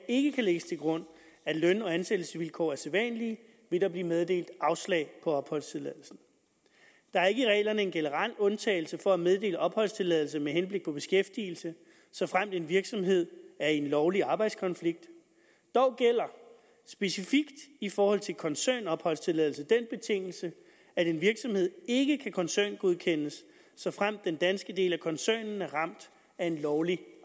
ikke kan lægges til grund at løn og ansættelsesvilkår er sædvanlige vil der blive meddelt afslag på opholdstilladelse der er ikke i reglerne en generel undtagelse for at meddele opholdstilladelse med henblik på beskæftigelse såfremt en virksomhed er i en lovlig arbejdskonflikt dog gælder specifikt i forhold til koncernopholdstilladelse den betingelse at en virksomhed ikke kan koncerngodkendes såfremt den danske del af koncernen er ramt af en lovlig